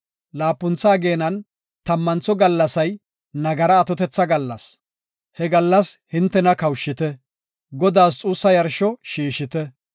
Laapuntha ageenan tammantho gallasay nagara atotetha gallas; he gallas geeshsha shiiqo shiiqite. He gallas hintena kawushite; Godaas xuussa yarsho shiishite.